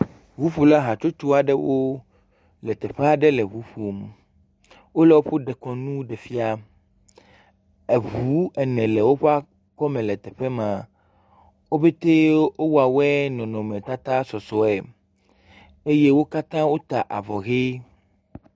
Ŋuƒola hatsotso aɖewo le teƒe aɖe le ŋu ƒom. Wole woƒo dekɔnu ɖe fia. Eŋu ene le woƒo akɔme le teƒe ma. Wo ƒete wowɔ wɔe nɔnɔmetata sɔsɔe eye wo katã wota avɔ ʋe.